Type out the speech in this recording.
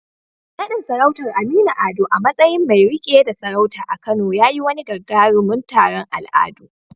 Naɗin sarautar Aminu Ado a matsayin mai riƙe da sarauta a Kano ya yi wani gagarumin taron al'adu.